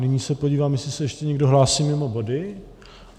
Nyní se podívám, jestli se ještě někdo hlásí mimo body.